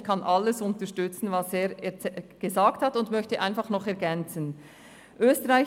Ich kann alles unterstützen, was er gesagt hat, und möchte einfach einige Ergänzungen anbringen.